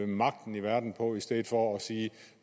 magten i verden på i stedet for at sige